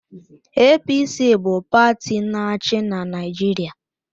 APC bụ pati na-achị Naịjirịa